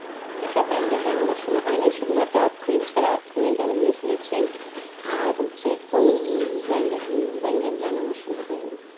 এসব band এর গান আমার সোনা হয়নি শুধু মতো অর্থহীন ছাড়া অর্থহীন এর গান গুলো শুনেছি আর হচ্ছে কোন band এর band এর গান আমার সোনা হয়েছে